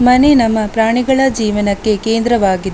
ಮನೆ ನಮ್ಮ ಪ್ರಾಣಿಗಳ ಜೀವನಕ್ಕೆ ಕೇಂದ್ರವಾಗಿ --